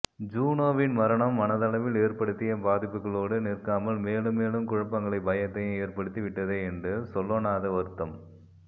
ஜூனோவின் மரணம் மனதளவில் ஏற்படுத்திய பாதிப்புகளோடு நிற்காமல் மேலும் மேலும் குழப்பங்களையும் பயத்தையும் ஏற்படுத்தி விட்டதே என்று சொல்லொணாத வருத்தம்